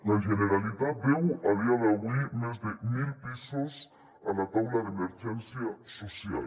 la generalitat deu a dia d’avui més de mil pisos a la taula d’emergència social